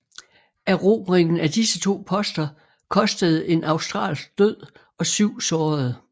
Erobringen af disse to poster kostede en australsk død og syv sårede